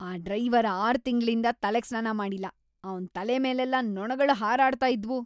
ಆ ಡ್ರೈವರ್ ಆರ್ ತಿಂಗ್ಳಿಂದ ತಲೆಗ್‌ ಸ್ನಾನ ಮಾಡಿಲ್ಲ, ಅವ್ನ್ ತಲೆ ಮೇಲೆಲ್ಲ ನೊಣಗಳು ಹಾರಾಡ್ತಾ ಇದ್ವು.